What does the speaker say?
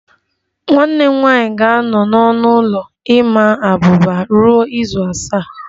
Nwanne m nwanyị ga-anọ n'ọnụ ụlọ ịma abuba ruo izu asaa